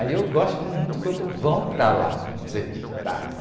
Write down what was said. Aí eu gosto muito quando vão para lá me entrevistar, né?